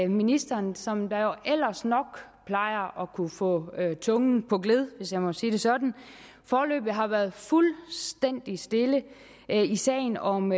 ministeren som jo ellers nok plejer at kunne få tungen på gled hvis jeg må sige det sådan foreløbig har været fuldstændig stille i sagen om